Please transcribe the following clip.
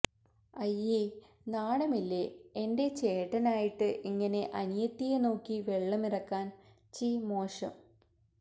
അയ്യേ നാണം ഇല്ലേ എന്റെ ചേട്ടൻ ആയിട്ട് ഇങ്ങനെ അനിയത്തിയെ നോക്കി വെള്ളം ഇറക്കാൻ ചീ മോശം